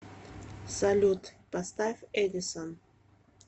салют поставь эдисон